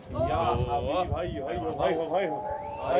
Ya həbibi, hey, hey, hey, hey, hey, hey, hey, hey, hey, hey!